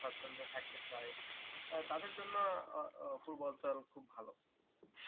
সাচ্ছন্দ্যে থাকতে চাই তাদের জন্য পূর্বাচল খুব ভালো